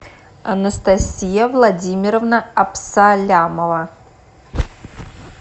анастасия владимировна абсалямова